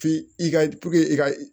F'i i ka i ka